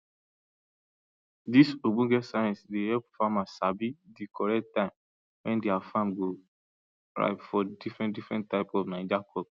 [] di ogbonge science dey help farmers sabi di correct time wen their farm go ripe for diffren diffren type of naija crop